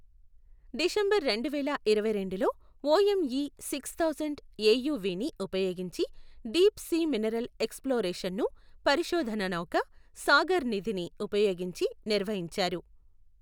December రెండు వేల ఇరవైరెండులో ఓఎంఈ సిక్స్ థౌసండ్ ఏయువీని ఉపయోగించి డీప్ సీ మినరల్ ఎక్స్ప్లోరేషన్ను పరిశోధన నౌక సాగర్ నిధిని ఉపయోగించి నిర్వహించారు.